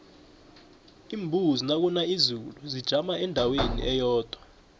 iimbuzi nakuna izulu zijama endaweni eyodwa